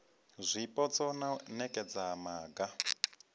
zwipotso na u nekedza maga